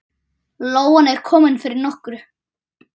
Lóan er komin fyrir nokkru.